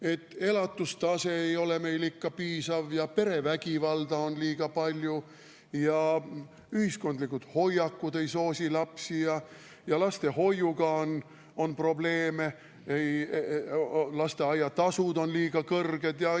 Et elatustase ei ole meil ikka piisav ja perevägivalda on liiga palju ja ühiskondlikud hoiakud ei soosi lapsi ja lastehoiuga on probleeme, lasteaiatasud on liiga kõrged.